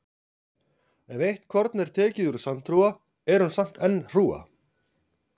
Ef eitt korn er tekið úr sandhrúga er hún samt enn hrúga.